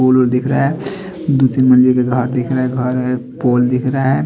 फूल उल दिख रहा है दो तीन मंदिर का घर दिख रहा है घर है पोल दिख रहा है।